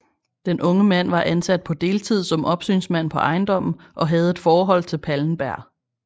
Den unge mand var ansat på deltid som opsynsmand på ejendommen og havde et forhold til Pallenberg